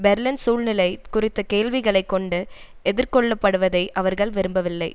Berlin சூழ்நிலை குறித்த கேள்விகளைக் கொண்டு எதிர் கொள்ளப்படுவதை அவர்கள் விரும்பவில்லை